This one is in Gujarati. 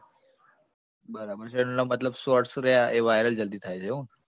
બરાબર છે, એનો મતલબ shorts રહ્યા એ viral જલ્દી થાય છે એવું